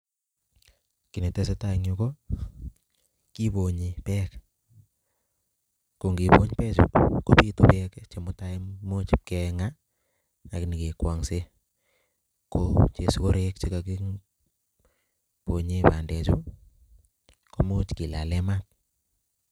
Kit netesetai en yuh kibonyii beek, kongibony beechu kobiitu beek chemutai kimuch kengaa ak nyonkegwonksen, ko machakwek che kokibonye banded chu kimuch kilalen maat